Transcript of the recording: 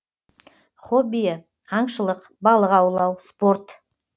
хоббиі аңшылық балық аулау спорт